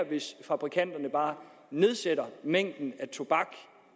hvis fabrikanterne bare nedsætter mængden af tobak